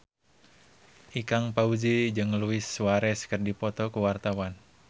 Ikang Fawzi jeung Luis Suarez keur dipoto ku wartawan